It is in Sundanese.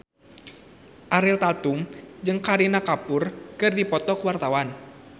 Ariel Tatum jeung Kareena Kapoor keur dipoto ku wartawan